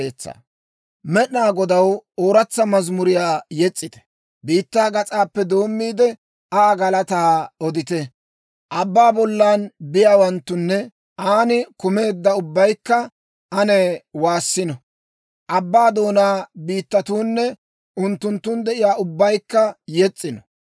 Med'inaa Godaw ooratsa mazimuriyaa yes's'ite; biittaa gas'aappe doommiide, Aa galataa odite. Abbaa bollan biyaawanttunne, aan kumeedda ubbaykka ane waassino. Abbaa doonaa biittatuunne unttunttun de'iyaa ubbaykka yes's'ino.